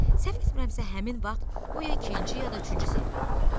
Səhv etmirəmsə, həmin vaxt o ya ikinci, ya da üçüncü sinifdə oxuyurdu.